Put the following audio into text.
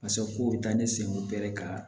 Paseko bɛ taa ne sen gɛrɛ ka